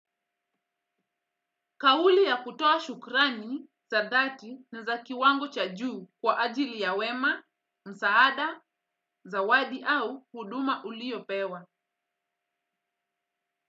Kauli ya kutoa shukrani, za dhati na za kiwango cha juu kwa ajili ya wema, msaada, zawadi au huduma uliopewa.